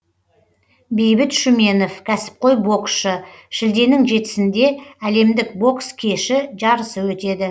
бейбіт шүменов кәсіпқой боксшы шілденің жетісінде әлемдік бокс кеші жарысы өтеді